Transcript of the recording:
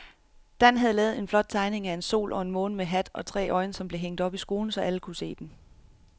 Dan havde lavet en flot tegning af en sol og en måne med hat og tre øjne, som blev hængt op i skolen, så alle kunne se den.